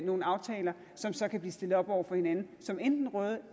nogle aftaler som så kan blive stillet op over for hinanden som enten røde